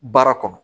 Baara kɔnɔ